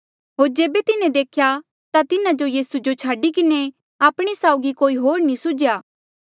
होर जेबे तिन्हें देख्या ता तिन्हा जो यीसू जो छाडी किन्हें आपणे साउगी होर कोई नी सुझ्या